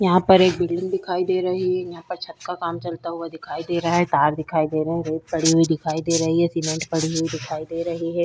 यहां पर एक बिल्डिंग दिखाई दे रही है यहाँ पर छत का काम चलता हुआ दिखाई दे रहा है कार दिखाई दे रही है रेत पड़ी हुई दिखाई दे रही है सीमेंट पड़ी हुई दिखाई दे रही है।